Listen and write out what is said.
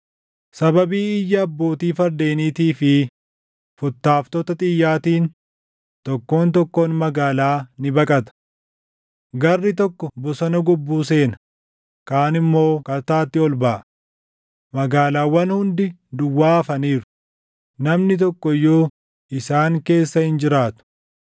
Sababii iyya abbootii fardeeniitii fi futtaaftota xiyyaatiin, tokkoon tokkoon magaalaa ni baqata. Garri tokko bosona gobbuu seena; kaan immoo kattaatti ol baʼa; magaalaawwan hundi duwwaa hafaniiru; namni tokko iyyuu isaan keessa hin jiraatu.